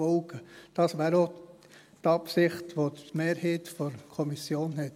Das wäre auch die Absicht, die die Mehrheit der Kommission hat.